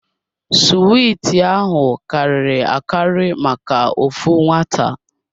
Suwiti ahụ karịrị akari maka ofu nwata.